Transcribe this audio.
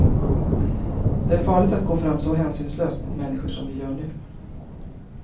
Det är farligt att gå fram så hänsynslöst mot människor som vi gör nu.